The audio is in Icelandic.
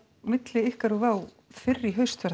milli ykkar fyrr í haust